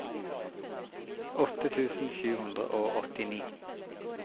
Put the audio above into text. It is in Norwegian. åtte tusen sju hundre og åttini